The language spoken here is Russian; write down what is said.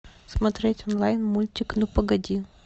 смотреть онлайн мультик ну погоди